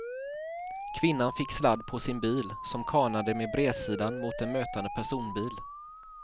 Kvinnan fick sladd på sin bil som kanade med bredsidan mot en mötande personbil.